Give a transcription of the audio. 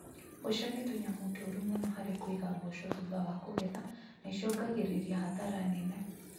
Mbũca nĩ tũnyamũ tũru mũno harĩ kũiga mboco thũtha wa kũgetha na icũngagĩrĩria hathara nene